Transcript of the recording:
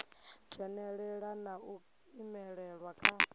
dzhenelela na u imelelwa kha